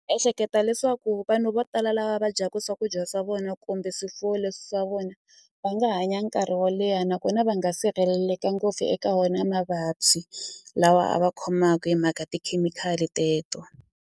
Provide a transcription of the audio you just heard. Ehleketa leswaku vanhu vo tala lava va dyaku swakudya swa vona kumbe swifuwo leswi swa vona va nga hanya nkarhi wo leha nakona va nga sirheleleka ngopfu eka wona mavabyi lawa a va khomaku hi mhaka tikhemikhali teto.